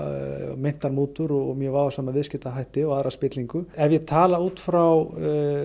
meintar mútur og mjög vafasama viðskiptahætti og aðra spillingu ef ég tala út frá